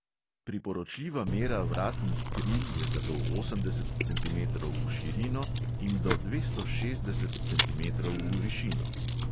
Priporočljiva mera vratnih kril je zato osemdeset centimetrov v širino in do dvesto šestdeset centimetrov v višino.